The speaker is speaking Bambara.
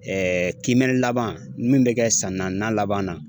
kiimɛnni laban min bɛ kɛ san naaninan laban na.